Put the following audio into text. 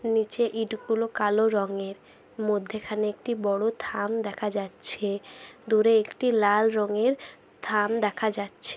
নিচে ইটগুলো কালো রঙের মধ্যেখানে একটি বড় থাম দেখা যাচ্ছে দূরে একটি লাল রঙের থাম দেখা যাচ্ছে।